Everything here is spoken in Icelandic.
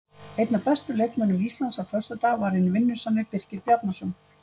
Einn af bestu leikmönnum Íslands á föstudag var hinn vinnusami Birkir Bjarnason.